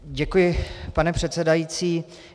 Děkuji, pane předsedající.